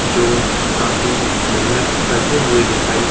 जो काफी मेहनत करते हुए दिखाई --